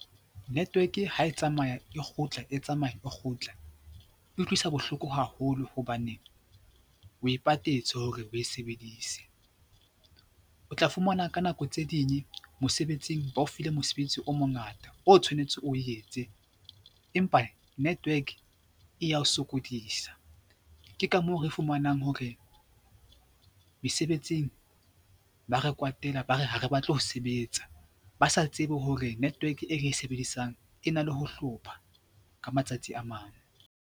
Network ha e tsamaya e kgutla, e tsamaya kgutla, e utlwisa bohloko haholo hobane o e patetse hore o e sebedise. O tla fumana ka nako tse ding mosebetsing ba o file mosebetsi o mongata o tshwanetse o etse empa network e ya o sokodisa. Ke ka moo re fumanang hore mesebetsing ba re kwatela, ba re ha re batle ho sebetsa ba sa tsebe hore network e re e sebedisang e na le ho hlopha ka matsatsi a mang.